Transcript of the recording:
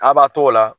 A b'a t'o la